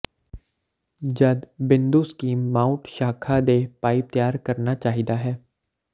ਜਦ ਬਿੰਦੂ scheme mount ਸ਼ਾਖਾ ਦੇ ਪਾਈਪ ਤਿਆਰ ਕਰਨਾ ਚਾਹੀਦਾ ਹੈ